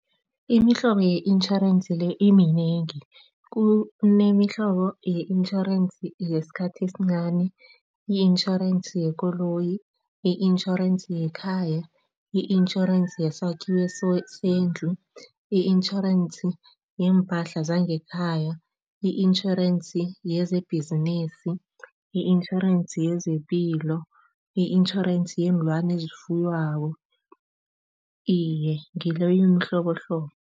Imihlobo ye-intjhorensi le iminengi. Kunemihlobo ye-insurance yesikhathi esincani, i-insurance yekoloyi, i-insurance yekhaya, i-insurance yesakhiwo sendlu, i-insurance yeempahla zangekhaya, i-insurance yezebhizinisi, i-insurance yezepilo, i-insurance yeenlwana eziyifuywako, iye, ngileyo imihlobohlobo.